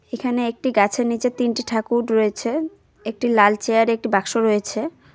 এখানে একটি গাছের নীচে তিনটি ঠাকুর রয়েছে একটি লাল চেয়ার -এ একটি বাক্স রয়েছে।